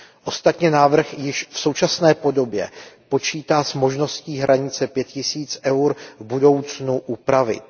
Ostatně návrh již v současné podobě počítá s možností hranici pěti tisíc EUR v budoucnu upravit.